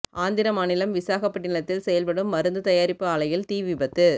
ஆந்திர மாநிலம் விசாகப்பட்டினத்தில் செயல்படும் மருந்து தயாரிப்பு ஆலையில் தீ விபத்து